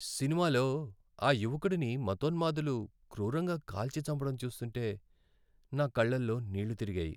సినిమాలో ఆ యువకుడిని మతోన్మాదులు క్రూరంగా కాల్చి చంపడం చూస్తుంటే నా కళ్లలో నీళ్లు తిరిగాయి.